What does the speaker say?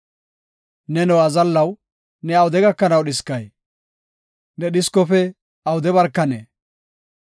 Neno azallaw, ne awude gakanaw dhiskay? Ne dhiskofe awude barkanee?